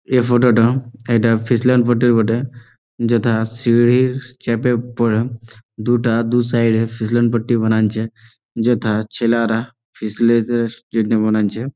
এই ফটো টা একটা ফেসল্যান্ড ফটোর বটে। যেটা সিড়ির ছাদের উপরে দুটা দুপাশে ফিসলাম পট্টি বানা আছে। যেথা ছেলেরেরা --